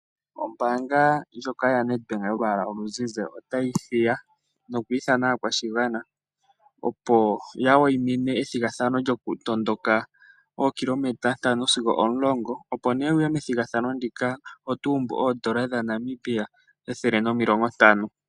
Ombaanga yaNetbank yolwaala oluzize, otayi hiya nokwiithana aakwashigwana opo ya wayimine ethigathano lyokutondoka ookilometer 5 sigo 10 opo nee wuye methigathano ndika otuumbu oondola N$ 150.